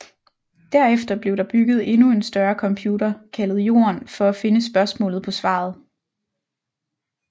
Derefter blev der bygget en endnu større computer kaldet Jorden for at finde spørgsmålet på svaret